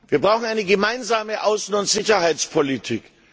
Wir brauchen eine gemeinsame Außen und Sicherheitspolitik.